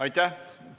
Aitäh!